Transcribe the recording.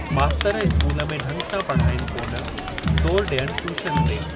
मास्तर स्कूल में ढंग सां पढ़ाईनि कोन, ज़ोरु ॾियनि टयूशन ते।